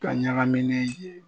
Ka ɲagamini ye.